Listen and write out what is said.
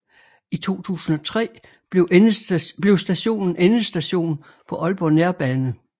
I 2003 blev stationen endestation på Aalborg Nærbane